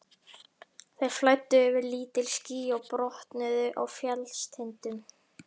Þeir flæddu yfir lítil ský og brotnuðu á fjallstindum.